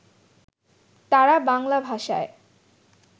তাঁরা বাংলা ভাষায়